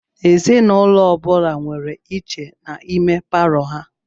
Ezinụlọ ọ bula nwèrè iche n'ime Palọ ha.